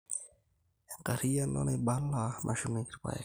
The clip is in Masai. Enkariano naibala nashumieki irrpaek